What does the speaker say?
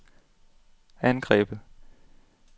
angrebet